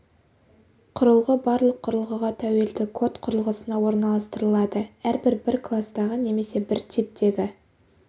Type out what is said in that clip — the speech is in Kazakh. құрылғы барлық құрылғыға тәуелді код құрылғысына орналастырылады әрбір бір кластағы немесе бір типтегі